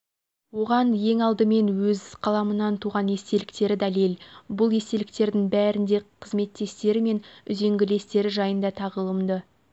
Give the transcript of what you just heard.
оған ең алдымен өз қаламынан туған естеліктері дәлел бұл естеліктердің бәрінде қызметтестері мен үзеңгілестері жайында тағылымды